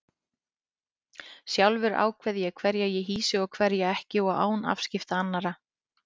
Sjálfur ákveð ég hverja ég hýsi og hverja ekki og án afskipta annarra.